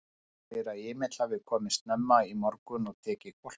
Hún segir að Emil hafi komið snemma í morgun og tekið hvolpinn.